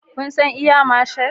Kun san Air Marshal?